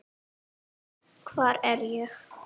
Hvar er ég?